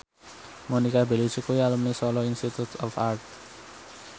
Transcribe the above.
Monica Belluci kuwi alumni Solo Institute of Art